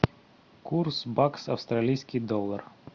курс бакс австралийский доллар